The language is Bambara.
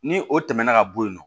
Ni o tɛmɛna ka bɔ yen nɔ